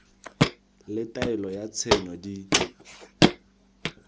le taelo ya tshenyo di